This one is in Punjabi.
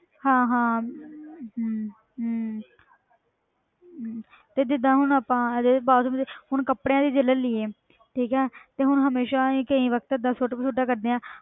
ਹਾਂ ਹਾਂ ਹਮ ਹਮ ਹਮ ਤੇ ਜਿੱਦਾਂ ਹੁਣ ਆਪਾਂ ਹੁਣ ਕੱਪੜਾਂ ਦੀ ਜੇ ਲੈ ਲਈਏ ਠੀਕ ਹੈ ਤੇ ਹੁਣ ਹਮੇਸ਼ਾ ਹੀ ਕਈ ਵਕਤ ਏਦਾਂ ਸੁੱਟ ਕਸੁੱਟਾਂ ਕਰਦੇ ਹਾਂ